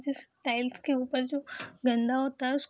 जिस टाइल्स के ऊपर जो गंदा होता है उस --